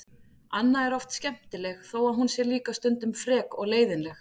Anna er oft skemmtileg þó að hún sé líka stundum frek og leiðinleg.